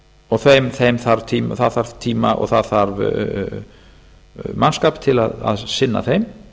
og það þarf tíma og það þarf mannskap til að sinna þeim